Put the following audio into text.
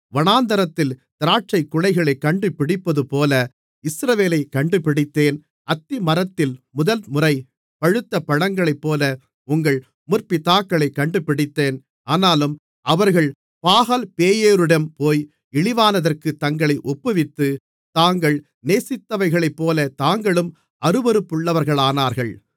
வனாந்திரத்தில் திராட்சைக்குலைகளைக் கண்டுபிடிப்பதுபோல இஸ்ரவேலைக் கண்டுபிடித்தேன் அத்திமரத்தில் முதல்முறை பழுத்த பழங்களைப்போல உங்கள் முற்பிதாக்களைக் கண்டுபிடித்தேன் ஆனாலும் அவர்கள் பாகால்பேயோரிடம் போய் இழிவானதற்குத் தங்களை ஒப்புவித்து தாங்கள் நேசித்தவைகளைப்போலத் தாங்களும் அருவருப்புள்ளவர்களானார்கள்